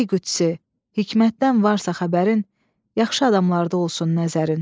Ey Qüdsi, hikmətdən varsa xəbərin, yaxşı adamlarda olsun nəzərin.